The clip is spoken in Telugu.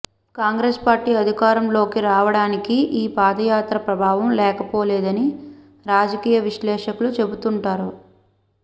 కాంగ్రెస్ పార్టీ అధికారంలోకి రావడానికి ఈ పాదయాత్ర ప్రభావం లేకపోలేదని రాజకీయ విశ్లేషకులు చెబుతుంటారు